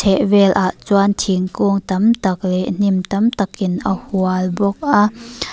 chheh velah chuan thingkung tam tak leh hnim tak takin a hual bawk a.